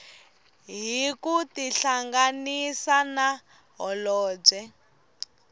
hi ku tihlanganisa na holobye